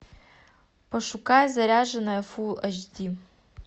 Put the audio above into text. пошукай заряженные фулл эйч ди